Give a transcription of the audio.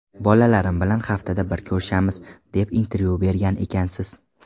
Bolalarim bilan haftada bir ko‘rishamiz, deb intervyu bergan ekansiz.